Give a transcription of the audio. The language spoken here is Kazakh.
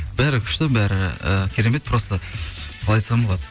бәрі күшті бәрі і керемет просто қалай айтсам болады